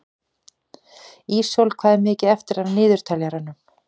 Ísól, hvað er mikið eftir af niðurteljaranum?